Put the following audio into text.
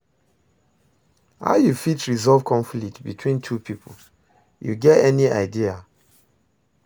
how you fit resolve conflict between two people, you get any idea?